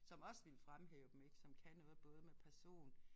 Som også ville fremhæve dem ik som kan noget både med person